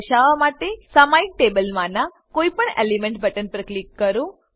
તે દર્શાવવા માટે સામાયિક ટેબલમાનાં કોઈપણ એલીમેંટ બટન પર ક્લિક કરો